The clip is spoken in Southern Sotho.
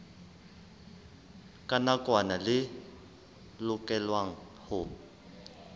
la nakwana le lokelwang ho